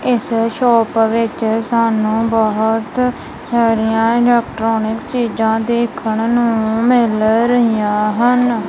ਇੱਸ ਸ਼ੌਪ ਵਿੱਚ ਸਾਨੂੰ ਬੋਹੁਤ ਸਾਰੀਆਂ ਇਲੈਕਟ੍ਰੋਨਿਕਸ ਚੀਜਾਂ ਦੇਖਣ ਨੂੰ ਮਿਲ ਰਹੀਆਂ ਹਨ।